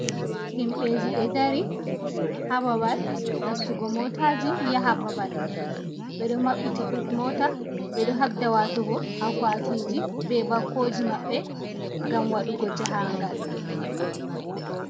Himbeji ɗo ɗari ha babal nastugo motaji ya ha babal. Be ɗo mabbiti but mota be ɗo habɗa watugo akwatiji be bakoji mabbe ngam waɗugo jahangal.